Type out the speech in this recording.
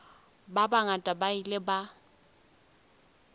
ba bangata ba ile ba